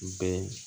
Bɛɛ